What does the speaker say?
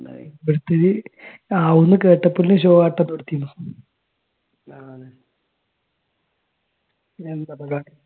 ഓരോരുത്തർ ആവുന്ന് കേട്ടപ്പളേക്കും ഷോ കാട്ടപ്പെടുത്തി പിന്നെന്താ പറ